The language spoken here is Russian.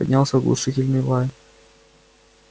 поднялся оглушительный лай